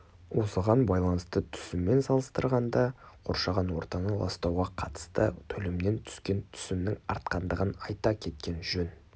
осыған байланысты түсіммен салыстырғанда қоршаған ортаны ластауға қатысты төлемнен түскен түсімнің артқандығын айта кеткен жөн